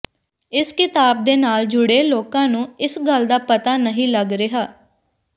ਇਸ ਕਿਤਾਬ ਦੇ ਨਾਲ ਜੁੜੇ ਲੋਕਾਂ ਨੂੰ ਇਸ ਗੱਲ ਦਾ ਪਤਾ ਨਹੀਂ ਲੱਗ ਰਿਹਾ